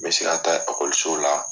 N bɛ se ka taa la.